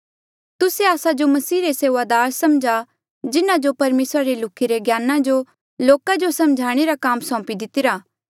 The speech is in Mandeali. तुस्से आस्सा जो मसीह रे सेऊआदार समझा जिन्हा जो परमेसरा रे लुख्ही रे ज्ञाना जो लोका जो समझाणे रा काम सौंपी दितिरा